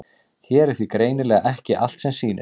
Hér er því greinilega ekki allt sem sýnist.